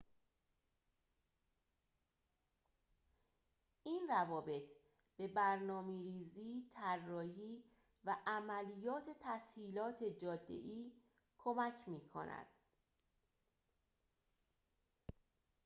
این روابط به برنامه‌ریزی طراحی و عملیات تسهیلات جاده‌ای کمک می‌کند